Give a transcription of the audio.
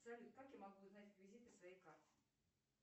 салют как я могу узнать реквизиты своей карты